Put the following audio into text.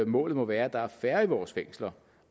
målet må være at der er færre i vores fængsler